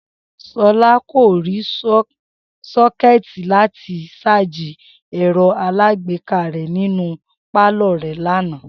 S̩o̩lá kò rí só̩ké̩è̩tì láti s̩áàjì è̩ro̩ alágbéká rè̩ nínú pálò̩ rè̩ lánàá